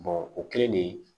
o kɛlen de